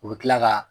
U bɛ tila ka